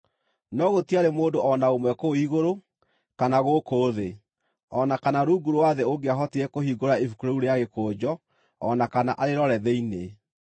No gũtiarĩ mũndũ o na ũmwe kũu igũrũ, kana gũkũ thĩ, o na kana rungu rwa thĩ ũngĩahotire kũhingũra ibuku rĩu rĩa gĩkũnjo o na kana arĩrore thĩinĩ.